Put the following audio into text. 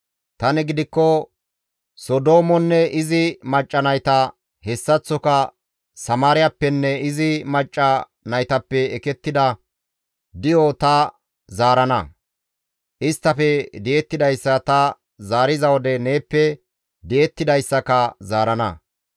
«Tani gidikko Sodoomonne izi macca nayta, hessaththoka Samaariyappenne izi macca naytappe ekettida di7o ta zaarana; isttafe di7ettidayssa ta zaariza wode neeppe di7ettidayssaka zaarana.